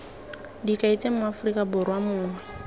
dikai tse moaforika borwa mongwe